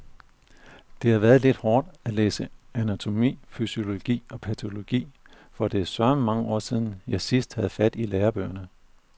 Det har været lidt hårdt at læse anatomi, fysiologi og patologi, for det er søreme mange år siden, jeg sidst havde fat i lærebøgerne.